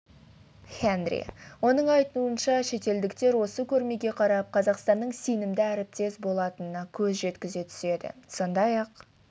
хенри оның айтуынша шетелдіктер осы көрмеге қарап қазақстанның сенімді әріптес болатынына көз жеткізе түседі сондай-ақ